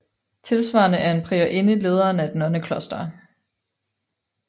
Tilsvarende er en priorinde lederen af et nonnekloster